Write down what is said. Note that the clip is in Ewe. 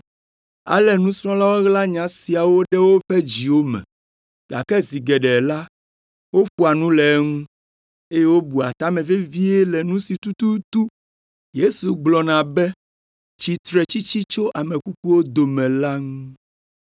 Ale nusrɔ̃lawo ɣla nya siawo ɖe woƒe dziwo me, gake zi geɖe la, woƒoa nu le eŋu, eye wobua ta me vevie le nu si tututu Yesu gblɔna be, “Tsitretsitsi tso ame kukuwo dome” la ŋu.